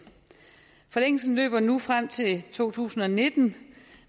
forlængelsen løber nu frem til to tusind og nitten